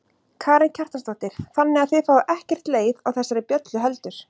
Karen Kjartansdóttir: Þannig að þið fáið ekkert leið á þessari bjöllu heldur?